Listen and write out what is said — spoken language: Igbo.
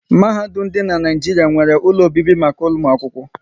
Mahadum dị n'Naijiria nwéré ụlọ obibi maka ụmụ akwụkwọ